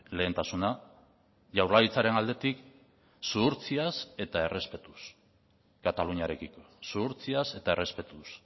lehentasuna jaurlaritzaren aldetik zuhurtziaz eta errespetuz kataluniarekiko zuhurtziaz eta errespetuz